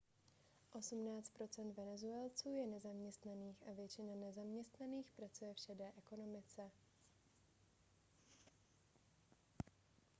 osmnáct procent venezuelců je nezaměstnaných a většina zaměstnaných pracuje v šedé ekonomice